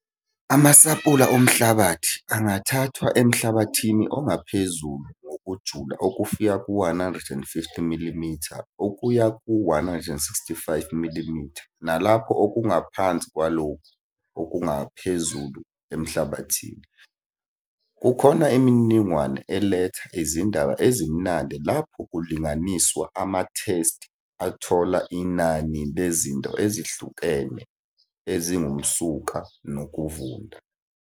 Amasampula omhlabathi angathathwa emhlabathini ongaphezulu ngokujula okufika ku-150 mm okuya ku-165 mm nalapho okungaphansi kwalokhu okungaphezulu emhlabathini. Kukhona imininingwane eletha izindaba ezimnandi lapho kulinganiswa amathesti athola inani lezinto ezihlukene ezingumsuka nokuvunda.